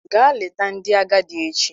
Gaa leta ndị agadi echi!